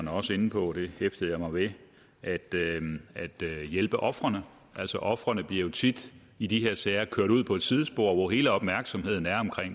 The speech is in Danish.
også inde på det hæftede jeg mig ved er at hjælpe ofrene altså ofrene bliver jo tit i de her sager kørt ud på et sidespor hvor hele opmærksomheden er